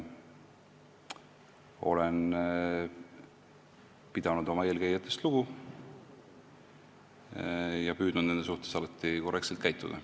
Olen pidanud oma eelkäijatest lugu ja püüdnud nende suhtes alati korrektselt käituda.